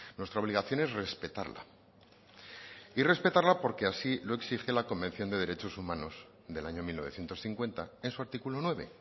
nuestra obligación es respetarla y respetarla porque así lo exige la convención de derechos humanos del año mil novecientos cincuenta en su artículo nueve